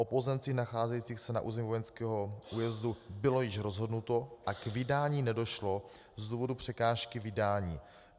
O pozemcích nacházejících se na území vojenského újezdu bylo již rozhodnuto a k vydání nedošlo z důvodu překážky vydání.